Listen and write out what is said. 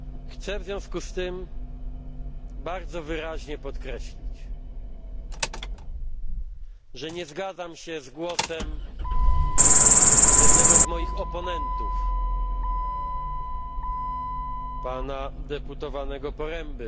Chcę w związku z tym bardzo wyraźnie podkreślić, że nie zgadzam się z głosem jednego z moich oponentów, pana posła Poręby,